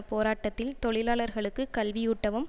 போராட்டத்தில் தொழிலாளர்களுக்கு கல்வியூட்டவும்